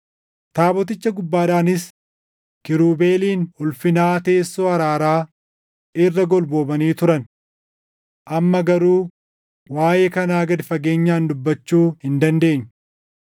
Taaboticha gubbaadhaanis kiirubeeliin Ulfinaa teessoo araaraa irra golboobanii turan. Amma garuu waaʼee kanaa gad fageenyaan dubbachuu hin dandeenyu.